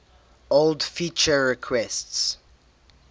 old feature requests